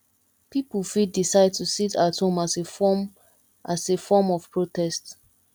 pipo fit decide to sit at home as a form as a form of protest